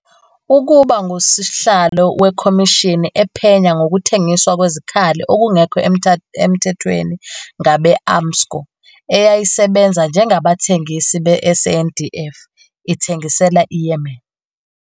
ukuba ngusihlalo wekhomishini ephenya ngokuthengiswa kwezikhali okungekho emthethweni ngabe-Armscor, eyayisebenza njengabathengisi be-SANDF, ithengisela iYemen.